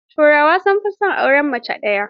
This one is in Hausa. Turawa sun fi son auren mace daya.